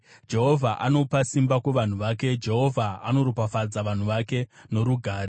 Jehovha anopa simba kuvanhu vake; Jehovha anoropafadza vanhu vake norugare.